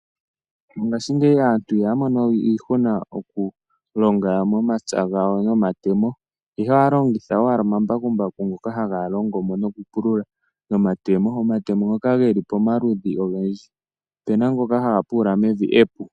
Mongashingeyi aantu ihaya mono we iihuna mokulonga momapya gawo nomatemo, ihe ohaya longitha owala omambakumbaku ngoka haga longo moo nokupulula nomatemo. Omatemo ngoka geli pamaludhi ogendji, ope na ngoka haga pulula mevi epu.